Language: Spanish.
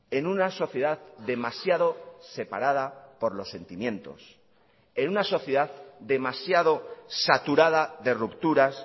en una sociedad demasiado separada por los sentimientos en una sociedad demasiado saturada de rupturas